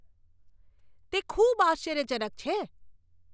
તે ખૂબ આશ્ચર્યજનક છે!